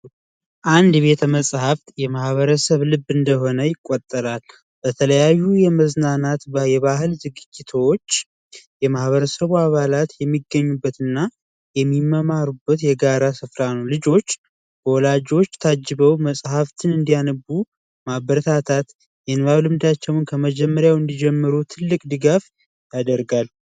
አንድ ቤተ መፃህ የማህበረሰብ ልብ እንደሆነ ይቆጠራል። በተለያዩ የመዝናናት የባህል ዝግጅቶች የማህበረሰብ አባላት የሚገኙበትና የሚማማሩበት የጋራ ስፍራ ልጆች ወላጆች ታጅበው መጽሐፍትን እንዲያነቡ ማበረታታት ከመጀመሪያው እንዲጀምሩ ትልቅ ድጋፍ ያደርጋል ።